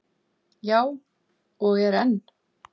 Já, og er enn.